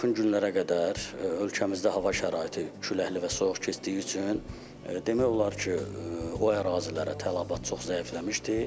Yaxın günlərə qədər ölkəmizdə hava şəraiti küləkli və soyuq keçdiyi üçün demək olar ki, o ərazilərə tələbat çox zəifləmişdi.